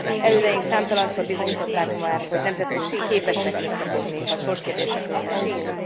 Elődeink számtalanszor bizonyították már, hogy nemzeteink képesek összefogni, ha sorskérdésekről van szó.